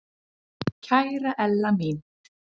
Kæra Ella mín.